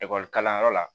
Ekɔli kalanyɔrɔ la